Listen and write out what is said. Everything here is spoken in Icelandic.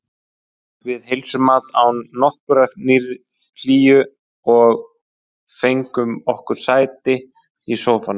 Við heilsuðumst án nokkurrar hlýju og fengum okkur sæti í sófanum.